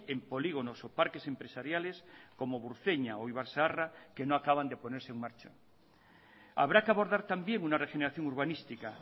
en polígonos o parques empresariales como burceña o ibarzaharra que no acaban de ponerse en marcha habrá que abordar también una regeneración urbanística